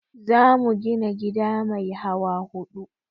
Za mu gina gida mai hawa huɗu